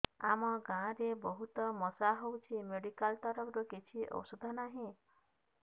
ଆମ ଗାଁ ରେ ବହୁତ ମଶା ହଉଚି ମେଡିକାଲ ତରଫରୁ କିଛି ଔଷଧ ନାହିଁ